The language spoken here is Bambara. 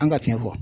An ka tiɲɛ fɔ